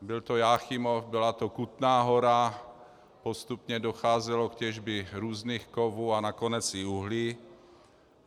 Byl to Jáchymov, byla to Kutná Hora, postupně docházelo k těžbě různých kovů a nakonec i uhlí.